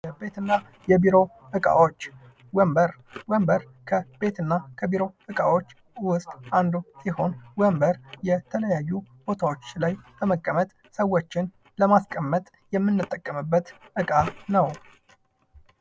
የቤትና የቢሮ ዕቃዎች ወንበር። ወንበር ከቤትና ከቢሮ ዕቃዎች ውስጥ አንዱ ሲሆን ወንበር የተለያዩ ቦታዎች ላይ ለመቀመጥ ሰዎችን ለማስቀመጥ የምንጠቀምበት ዕቃ ነው።